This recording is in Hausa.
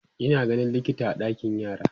Ina ganin likita a ɗakin yara